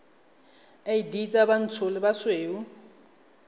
id tsa bontsho le bosweu